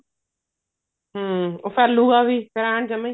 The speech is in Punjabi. ਹਮ ਉਹ ਫੈਲੁਗਾ ਵੀ ਐਨ ਜਮਾ ਹੀ